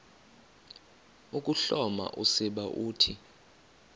ukuhloma usiba uthi